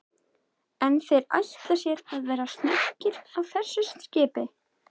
En þeir ætla sér að vera snöggir á þessu skipi?